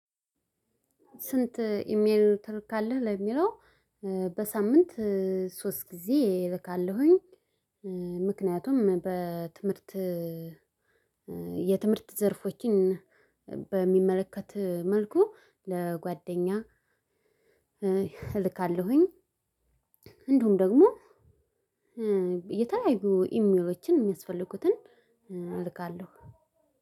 ስንት ኢሜልን ትልካለህ? ለሚለው በሳምንት ሶስት ጊዜ እልካለሁኝ። ምክንያቱም በትምህርት የትምህርት ዘርፎችን በሚመለከት መልኩ ለጓደኛ እልካለሁኝ። እንዲሁም ደግሞ የተለያዩ ኢሜሎችን የሚያስፈልጉትን እልካለሁ።